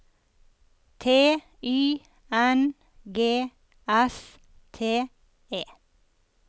T Y N G S T E